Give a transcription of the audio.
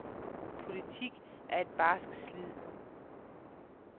Politik er et barsk slid.